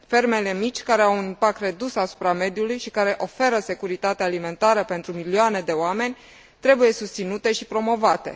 Fermele mici care au un impact redus asupra mediului și care oferă securitate alimentară pentru milioane de oameni trebuie susținute și promovate.